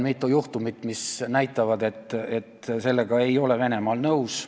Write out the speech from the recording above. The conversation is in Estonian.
Mitu juhtumit näitavad, et Venemaa ei ole sellega nõus.